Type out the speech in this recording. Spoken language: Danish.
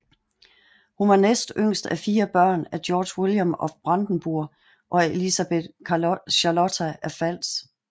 Hun var næst yngst af fire børn af Georg Vilhelm af Brandenburg og Elisabeth Charlotta af Pfalz